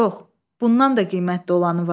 Yox, bundan da qiymətli olanı var.